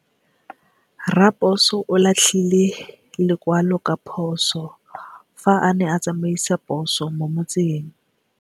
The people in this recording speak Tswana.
Raposo o latlhie lekwalô ka phosô fa a ne a tsamaisa poso mo motseng.